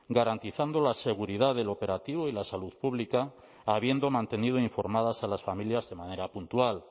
garantizando la seguridad del operativo y la salud pública habiendo mantenido informadas a las familias de manera puntual